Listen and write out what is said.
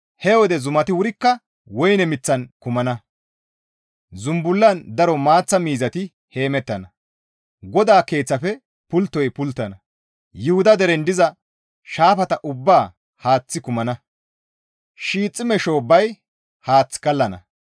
«He wode zumati wurikka woyne miththan kumana; zumbullan daro maaththa miizati heemettana; GODAA Keeththafe pulttoy pulttana; Yuhuda deren diza shaafata ubbaa haaththi kumana; Shiixime shoobbay haath kallana.